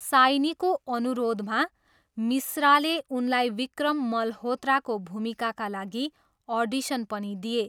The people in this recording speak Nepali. साइनीको अनुरोधमा, मिश्राले उनलाई विक्रम मल्होत्राको भूमिकाका लागि अडिसन पनि दिए।